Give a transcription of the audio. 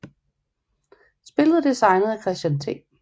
Spillet er designet af Christian T